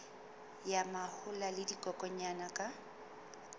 ya mahola le dikokwanyana ka